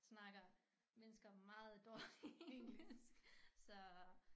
Snakker mennesker meget dårligt engelsk så